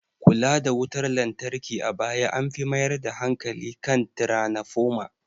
Kula da wutar lantarki a baya an fi mayar da hankali kan tranafoma